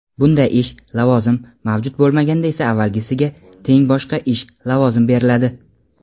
bunday ish (lavozim) mavjud bo‘lmaganda esa avvalgisiga teng boshqa ish (lavozim) beriladi.